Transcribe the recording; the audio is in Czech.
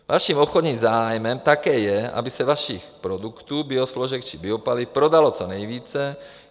Vaším obchodním zájmem také je, aby se vašich produktů, biosložek či biopaliv, prodalo co nejvíce.